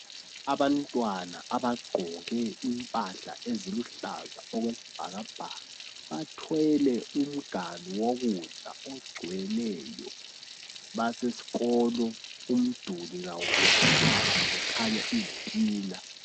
Abantwana abagqoke impahla eziluhlaza okwesibhakabhaka bathwele umganu wokudla ogcweleyo basesikolo umduli kawuplastwanga kukhanya izitina.